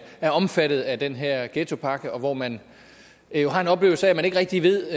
er omfattet af den her ghettopakke og hvor man har en oplevelse af at man ikke rigtig ved